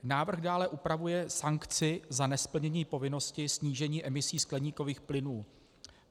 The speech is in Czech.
Návrh dále upravuje sankci za nesplnění povinnosti snížení emisí skleníkových plynů.